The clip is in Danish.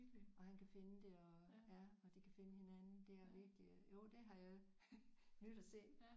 Og han kan finde det og ja og de kan finde hinanden det er virkelig jo det har jeg nydt at se